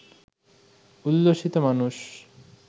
উল্লসিত মানুষ